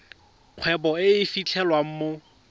kgwebo e e fitlhelwang mo